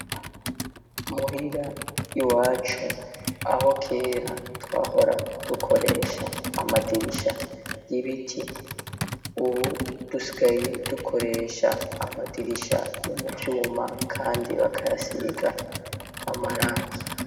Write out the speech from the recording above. Muhira i wacu aho kera twahora dukoresha amadirisha y'ibiti uwu dusigaye dukoresha amadirisha yo muvyuma, kandi bakayasibiga amarangi.